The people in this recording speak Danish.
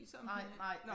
Nej nej